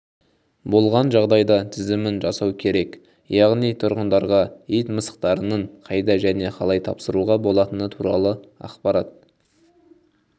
болған жағдайда тізімін жасау керек яғни тұрғындарға ит-мысықтарының қайда және қалай тапсыруға болатыны туралы ақпарат